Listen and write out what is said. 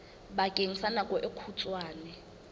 bakeng sa nako e kgutshwane